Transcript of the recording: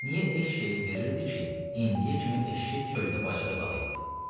Niyə eşşəyi verirdi ki, indiyə kimi eşşək çöldə bacada qalırdı?